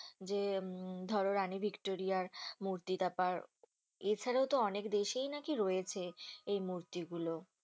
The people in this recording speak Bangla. যে উম ধরো রানী ভিক্টোরিয়ার মূর্তিটা আর এছাড়াতো অনেক দেশেই নাকি রয়েছে এই মূর্তিগুলো